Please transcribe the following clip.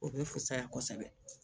O bɛ fusaya kosɛbɛ